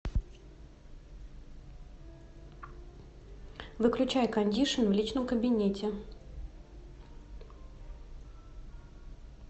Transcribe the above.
выключай кондишн в личном кабинете